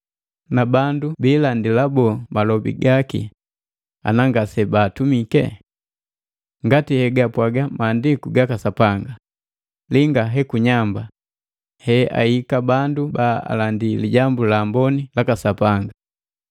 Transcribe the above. Na bandu biilandila boo malobi gaki ana ngase baatumike? Ngati hegapwaga maandiku gaka Sapanga, “Linga hekunyamba he aika bandu ba alandii Lijambu la Amboni laka Sapanga!”